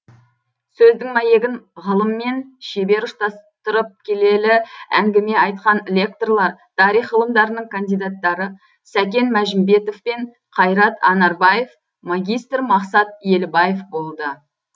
сөздің мәйегін ғылыммен шебер ұштастырып келелі әңгіме айтқан лекторлар тарих ғылымдарының кандидаттары сәкен мәжімбетов пен қайрат анарбаев магистр мақсат елібаев болды